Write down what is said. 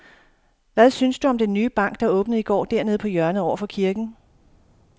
Hvad synes du om den nye bank, der åbnede i går dernede på hjørnet over for kirken?